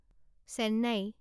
Chennai